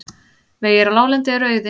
Vegir á láglendi eru auðir